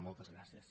moltes gràcies